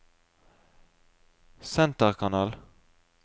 senterkanal